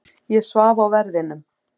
Ég svaf á verðinum.